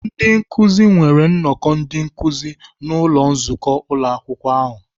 Ndị nkụzi nwere nnọkọ ndị nkụzi n'ụlọ nzukọ Ụlọakwụkwọ ahụ.